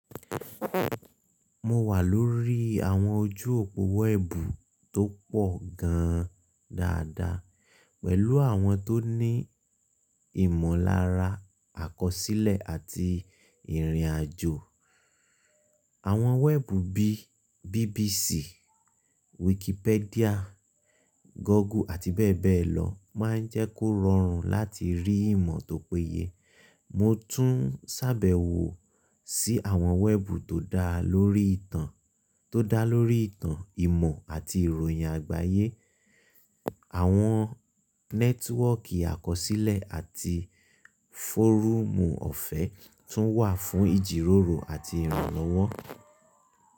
Mo wà lórí àwọn ojú òpó wẹ́ẹ̀bù tó pọ̀ gan-an dáadáa, pẹ̀lú àwọn tó ní ìmọ̀lára àkọsílẹ̀ àti ìrìnàjò. Àwọn wẹ́ẹ̀bù bí i BBC, Wikipedia, Google àti bẹ́ẹ̀ bẹ́ẹ̀ lọ máa ń jẹ́ kó rọrùn láti rí ìmọ̀ tó péye. Mo tún sábẹ́wó sí àwọn wẹ́ẹ̀bù tó dá lórí ìtàn, ìmọ̀ àti ìròyìn àgbáyé. Àwọn nẹ́tíwọ́ọ̀kì àkọsílẹ̀ àti fọ́rúùmù ọ̀fẹ́ tún wà fún ìjíròrò àti ìrànlọ́wọ́.